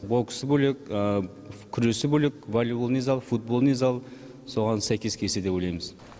боксы бөлек күресі бөлек воллейболный зал футболный зал соған сәйкес келсе деп ойлаймыз